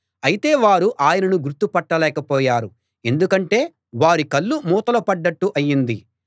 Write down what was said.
అయితే వారు ఆయనను గుర్తు పట్టలేకపోయారు ఎందుకంటే వారి కళ్ళు మూతలు పడ్డట్టు అయింది